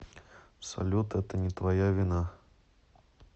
салют это не твоя вина